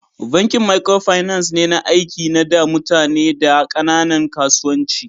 Bankin microfinance na aiki na da mutane da kananan kasuwanci.